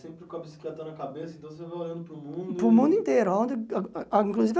Você vai sempre com a bicicleta na cabeça, então você vai olhando para o mundo... Para o mundo inteiro aonde ah ah inclusive.